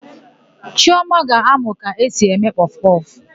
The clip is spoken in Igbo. Chiọma ga-amụ ka esi eme kpọfụkpọfụ.